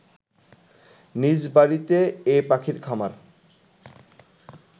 নিজ বাড়িতে এ পাখির খামার